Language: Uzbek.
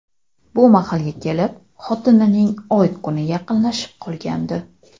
Bu mahalga kelib xotinining oy-kuni yaqinlashib qolgandi.